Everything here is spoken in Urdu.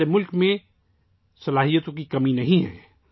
ہمارے ملک میں ٹیلنٹ کی کوئی کمی نہیں ہے